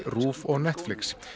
RÚV og Netflix